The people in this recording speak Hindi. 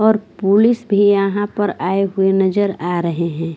और पुलिस भी यहाँ पर आए हुए नजर आ रहे हैं।